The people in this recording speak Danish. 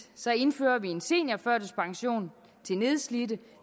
indfører vi en seniorførtidspension til nedslidte